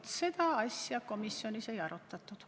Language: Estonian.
Vaat seda asja komisjonis ei arutatud.